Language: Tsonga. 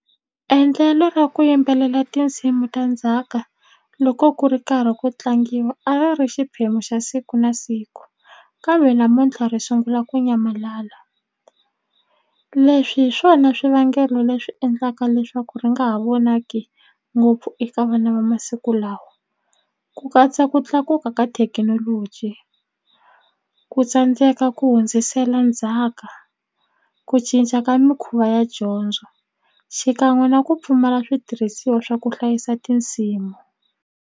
Endlelo ra ku yimbelela tinsimu ta ndzhaka loko ku ri karhi ku tlangiwa a va ri xiphemu xa siku na siku kambe namuntlha ri sungula ku nyamalala leswi hi swona swivangelo leswi endlaka leswaku ri nga ha vonaki ngopfu eka vana va masiku lawa ku katsa ku tlakuka ka thekinoloji ku tsandzeka ku hundzisela ndzhaka ku cinca ka mikhuva ya dyondzo xikan'we na ku pfumala switirhisiwa swa ku hlayisa tinsimu.